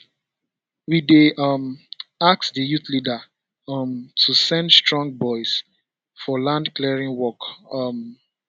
we dey um ask di youth leader um to send strong boys for land clearing work um